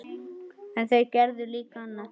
En þau gerðu líka annað.